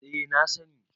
eh na sani